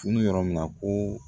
Tun bɛ yɔrɔ min na ko